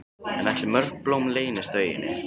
En ætli mörg blóm leynist á eyjunni?